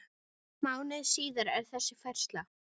Mánuði síðar er þessi færsla